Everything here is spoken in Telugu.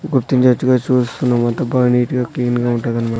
గుర్తించేట్టుగా చూస్కున్నాం అంతా బా నీట్ గా క్లీన్ గా ఉంటదన్నమా--